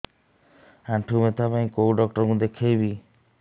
ଆଣ୍ଠୁ ବ୍ୟଥା ପାଇଁ କୋଉ ଡକ୍ଟର ଙ୍କୁ ଦେଖେଇବି